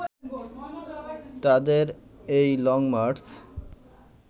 তাদের এই লংমার্চ